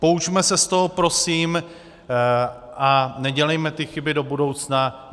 Poučme se z toho prosím a nedělejme ty chyby do budoucna.